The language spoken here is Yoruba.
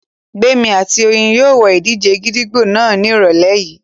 Gbémi àti Oyin yóò wo ìdíje gídígbò náà ní ìrọ̀lẹ́ yìí